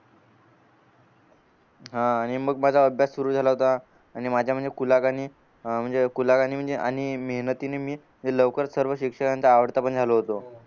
हा आणि मग माझा अभ्यास सुरु झाला होता आणि माझ्या म्हणजे म्हणजे आणि मेहनतीने मी लवकर सर्व शिक्षकांचा आवडता पण झालो होतो